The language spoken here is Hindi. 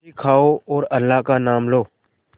रोटी खाओ और अल्लाह का नाम लो